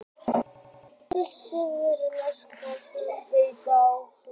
Það er einungis notað þegar talað er um breytingu á prósentu.